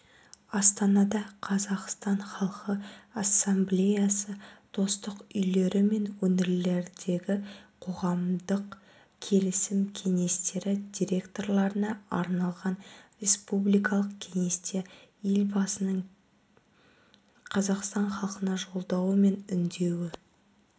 астанада қазақстан халқы ассамблеясы достық үйлері мен өңірлердегі қоғамдық келісім кеңестері директорларына арналған республикалық кеңесте елбасының қазақстан халқына жолдауы мен үндеуі